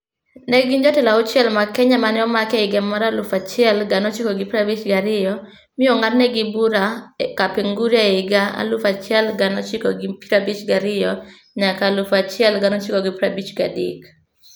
Ne gin jotelo auchiel mag Kenya ma ne omak e higa 1952, mi ong'adnegi bura Kapenguria e higa 1952 nyaka 1953.